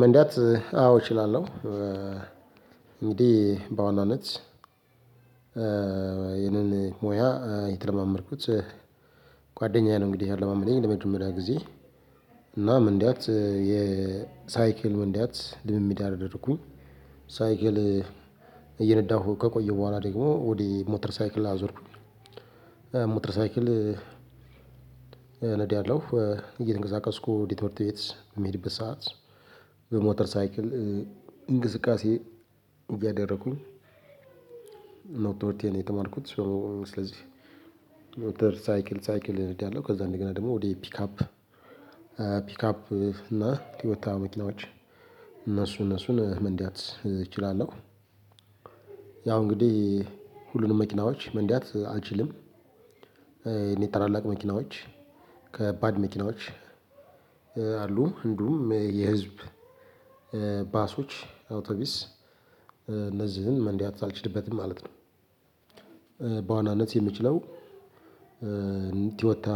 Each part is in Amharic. መንዳት አዎ እችላለሁ። እንግዲህ በዋናነት ይህንን ሙያ የተለማመድኩት ጓደኛዬ ነው። እንግዲህ ያለማመደኝ ለመጀመሪያ ጊዜ እናም መንዳት የሳይክል መንዳት ልምምድ አደረኩኝ። ሳይክል እየነዳሁ ከቆየው በኋላ ደግሞ ወደ ሞተር ሳይክል አዞርኩኝ። ሞተር ሳይክል አለው እየተንቀሳቀስኩ ወደትምህርት ቤት የሚሄድበት ሰዓት በሞተር ሳይክል እንቅስቃሴ እያደረኩኝ ነው። ትምህርቴን የተማርኩት ሶ ስለዚህ ሞተር ሳይክል ሳይክል እነዳለሁ ከዛ እንደገና ደግሞ ወደ ፒካፕ ፒካፕ እና ቶዮታ መኪናዎች እነሱ እነሱን መንዳት እችላለሁ። ያው እንግዲህ ሁሉንም መኪናዎች መንዳት አልችልም። የኔ ተላላቅ መኪናዎች ከባድ መኪናዎች አሉ እንዲሁም የህዝብ ባሶች አውቶቢስ እነዚህን መንዳት አልችልበትም ማለት ነው። በዋናነት የምችለው ቲዮታ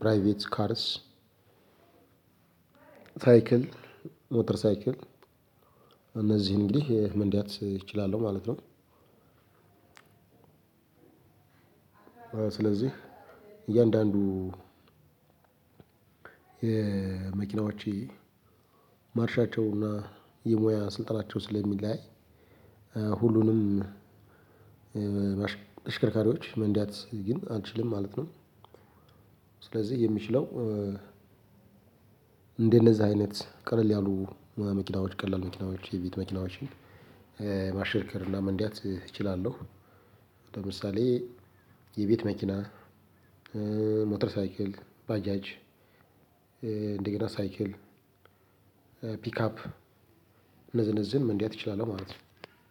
ፕራይቬት ካርስ ሳይክል ሞተር ሳይክል እነዚህን እንግዲህ መንደት እችላለሁ ማለት ነው። ስለዚህ እያንዳንዱ የመኪናዎቼ ማርሻቸውና የሙያ ስልጣናቸው ስለሚለያይ ሁሉንም ተሽከርካሪዎች መንዳት ግን አልችልም ማለት ነው። ስለዚህ የሚችለው እንዴት እንደነዚህ አይነት ቀለል ያሉ መኪናዎች ቀላል መኪናዎች የቤት መኪናዎችን ማሽከርከር እና መንዳት እችላለሁ። ለምሳሌ የቤት መኪና ሞተር ሳይክል ባጃጅ እደገና ሳይክል ፒካፕ እነዚህን እነዚህን መንዳት እችላለው ማለት ነው።